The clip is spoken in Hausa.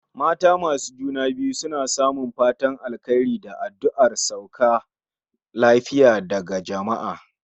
Mata masu juna biyu suna samun fatan alkhairi da adduar su sauka lafiya daga jamaa